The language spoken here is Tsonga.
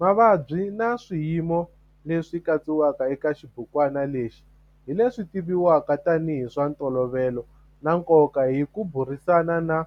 Mavabyi na swiyimo leswi katsiwaka eka xibukwana lexi hi leswi tivivwaka tanihi hi swa ntolovelo na nkoka hi ku burisana na